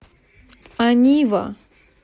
анива